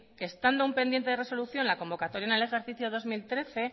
estando pendiente de resolución la convocatoria en el ejercicio dos mil trece